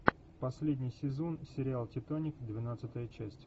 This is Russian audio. последний сезон сериал титаник двенадцатая часть